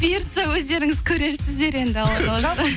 бұйыртса өздеріңіз көресіздер енді алла қаласа